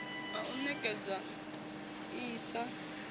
ha u ṋekedzwa iss sa